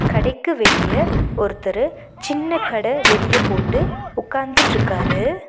கடைக்கு வெளிய ஒருத்தரு சின்ன கட வெளிய போட்டு உக்காந்துட்ருக்காரு.